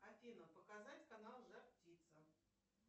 афина показать канал жар птица